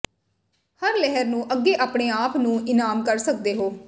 ਹਰ ਲਹਿਰ ਨੂੰ ਅੱਗੇ ਆਪਣੇ ਆਪ ਨੂੰ ਇਨਾਮ ਕਰ ਸਕਦੇ ਹੋ